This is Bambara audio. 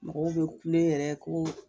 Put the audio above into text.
Mɔgɔw be kule yɛrɛ ko